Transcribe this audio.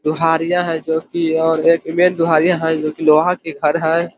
दोहारिया है जोकि और एक ईमेज दोहारिया है जोकि लोहा की खड़ हैं।